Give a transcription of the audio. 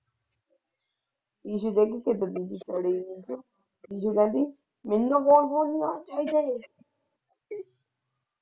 Issue ਕਹਿੰਦੀ ਮੈਨੂੰ ਕੌਣ ਪੁੱਛਦਾ?